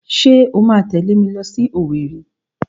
Ṣé o máa tẹ̀lé mi lọ sí Owerri?